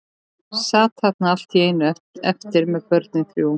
Sat þarna allt í einu eftir með börnin þrjú.